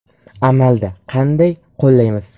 Amalda qanday qo‘llaymiz?